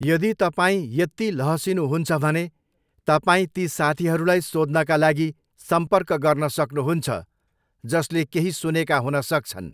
यदि तपाईँ यत्ति लहसिनुहुन्छ भने, तपाईँ ती साथीहरूलाई सोध्नका लागि सम्पर्क गर्न सक्नुहुन्छ, जसले केही सुनेका हुनसक्छन्।